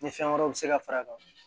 Ni fɛn wɛrɛw bɛ se ka far'a kan